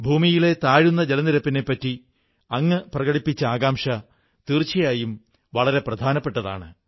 ഭൂഗർഭ ജലനിരപ്പ് താഴുന്നതിനെക്കുറിച്ച് അങ്ങു പ്രകടിപ്പിച്ച ആശങ്ക തീർച്ചയായും വളരെ പ്രധാനപ്പെട്ടതാണ്